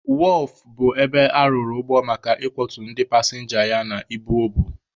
Wọọfụ bụ ebe arụrụ ụgbọ maka ị kwọtu ndị pasịnja ya na ibu o bu.